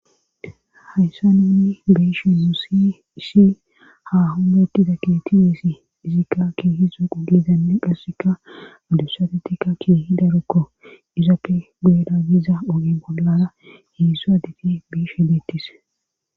Hayssa ninni biishi musi isi ha humettiza keti wiessi izikka kihi zo qulizanne qasseka adusate tikka ki hidarukko izappe geera giiza ogi bollara heedsu adefi biish he deettis.